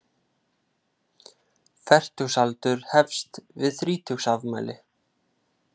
Fertugsaldur hefst við þrítugsafmæli.